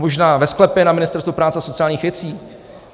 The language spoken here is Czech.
Možná ve sklepě na Ministerstvu práce a sociálních věcí?